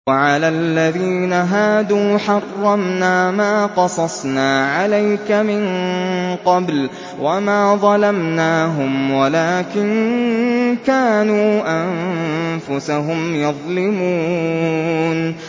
وَعَلَى الَّذِينَ هَادُوا حَرَّمْنَا مَا قَصَصْنَا عَلَيْكَ مِن قَبْلُ ۖ وَمَا ظَلَمْنَاهُمْ وَلَٰكِن كَانُوا أَنفُسَهُمْ يَظْلِمُونَ